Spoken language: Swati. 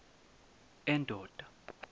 endoda